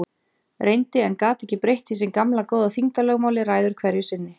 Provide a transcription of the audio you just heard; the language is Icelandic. Reyndi- en gat ekki breytt því sem gamla góða þyngdarlögmálið ræður hverju sinni.